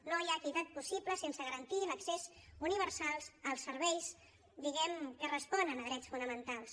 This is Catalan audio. no hi ha equitat possible sense garantir l’accés universal als serveis diguem ne que responen a drets fonamentals